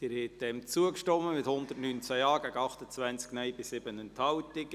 Sie haben dieser Planungserklärung zugestimmt, mit 119 Ja- gegen 28 Nein-Stimmen bei 7 Enthaltungen.